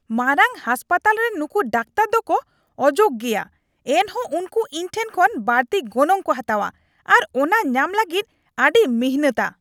ᱢᱟᱨᱟᱝ ᱦᱟᱥᱯᱟᱛᱟᱞ ᱨᱤᱱ ᱱᱩᱠᱩ ᱰᱟᱠᱛᱟᱨ ᱫᱚᱠᱚ ᱚᱡᱳᱜᱽ ᱜᱮᱭᱟ, ᱮᱱᱦᱚᱸ ᱩᱱᱠᱩ ᱤᱧ ᱴᱷᱮᱱ ᱠᱷᱚᱱ ᱵᱟᱹᱲᱛᱤ ᱜᱚᱱᱚᱝ ᱠᱚ ᱦᱟᱛᱟᱣᱟ ᱟᱨ ᱚᱱᱟ ᱧᱟᱢ ᱞᱟᱹᱜᱤᱫ ᱟᱹᱰᱤ ᱢᱤᱱᱦᱟᱹᱛᱟ ᱾